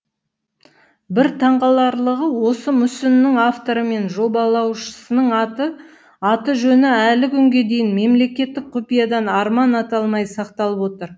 бір таңғаларлығы осы мүсіннің авторы мен жобалаушысының аты жөні әлі күнге дейін мемлекеттік құпиядан арман аталмай сақталып отыр